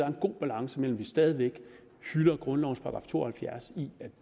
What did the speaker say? en god balance mellem vi stadig væk hylder grundlovens § to og halvfjerds om